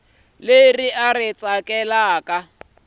leri u ri tsakelaka ku